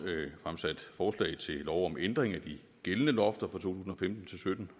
fremsat forslag til lov om ændring af de gældende lofter for to tusind